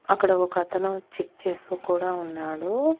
అక్కడ ఒక అతను చెక్ చేస్తూ కూడా ఉన్నాడు.